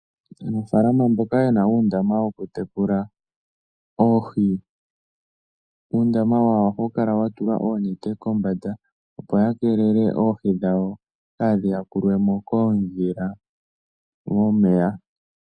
Aanafalama mboka ye na uundama wokutekula oohi, uundama wawo ohawu kala wa tulwa oonete kombanda, opo ya keelele oohi dhawo kaadhi yakulwe mo koondhila momeya.